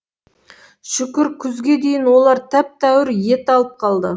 шүкір күзге дейін олар тәп тәуір ет алып қалды